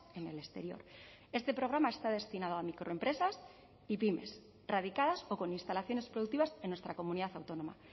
en el exterior este programa está destinado a microempresas y pymes radicadas o con instalaciones productivas en nuestra comunidad autónoma